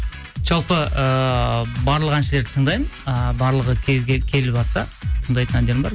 жалпы ыыы барлық әншілерді тыңдаймын ы барлығы келіватса тыңдайтын әндерім бар